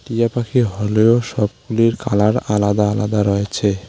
টিয়া পাখি হলেও সবগুলির কালার আলাদা আলাদা রয়েছে।